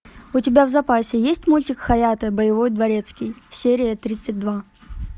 у тебя в запасе есть мультик хаятэ боевой дворецкий серия тридцать два